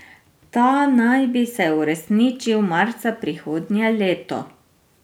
Ta naj bi se uresničil marca prihodnje leto.